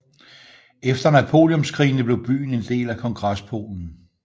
Efter Napoleonskrigene blev byen en del af Kongrespolen